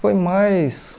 Foi mais...